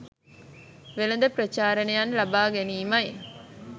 වෙළඳ ප්‍රචාරණයක් ලබා ගැනීමයි